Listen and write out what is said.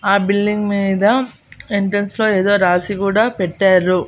ఆ బిల్డింగ్ మీద ఎంట్రెన్స్ లో ఏదో రాసి కూడా పెట్టారు.